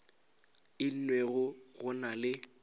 e nngwe go na le